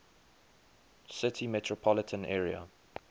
city metropolitan area